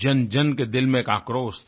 जनजन के दिल में एक आक्रोश था